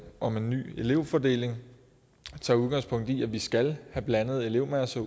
om en ny elevfordeling tager udgangspunkt i at vi skal have blandede elevmasser